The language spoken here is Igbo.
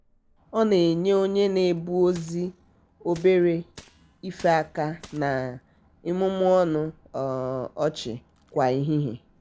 ọ na-enye onye na-ebu ozi obere ife aka na um imumu ọnụ um ọchị kwa ehihie.